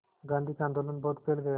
गांधी का आंदोलन बहुत फैल गया